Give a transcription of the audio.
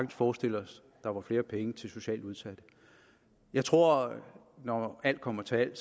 forestille os at der var flere penge til socialt udsatte og jeg tror når alt kommer til alt